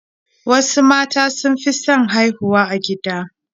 Wasu mata sun fi son haihuwa a gida